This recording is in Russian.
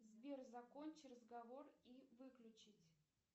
сбер закончи разговор и выключить